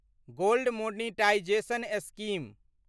gold monetization scheme